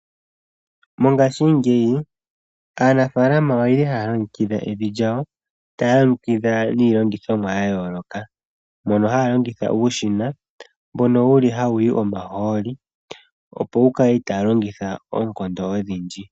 Mongashingeyi aanafalama oyeli haya longekidha evi lyawo taya longekidha niilongithomwa ya yooloka. Mono haya longitha uushina mbono wuli hawuyi omahooli opo kukale itaya longitha oonkondo odhindji.